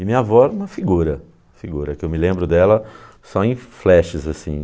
E minha avó é uma figura, figura que eu me lembro dela só em flashes assim.